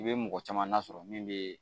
I bɛ mɔgɔ caman nasɔrɔ min bɛ